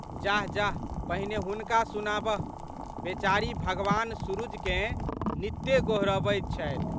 जाहजाह पहिने हुनका सुनाबह। बेचारी भगवान सुरुजकेँ नित गोहरबैत छथि।